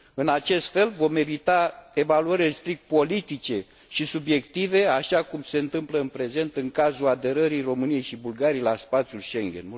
În acest fel, vom evita evaluările strict politice și subiective, așa cum se întâmplă în prezent în cazul aderării României și Bulgariei la spațiul Schengen.